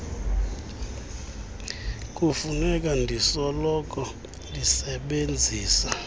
kufuneka ndisoloko ndisebenzisa